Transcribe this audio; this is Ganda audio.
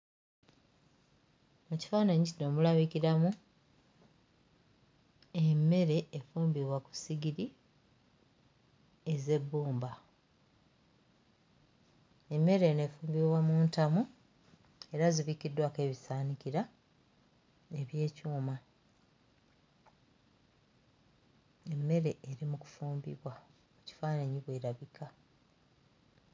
Mu kifaananyi kino mulabikiramu emmere efumbibwa ku ssigiri ez'ebbumba. Emmere eno efumbibwa mu ntamu era zibikkiddwako ebisaanikira eby'ekyuma. Emmere eri mu kufumbibwa, mu kifaananyi bw'erabika.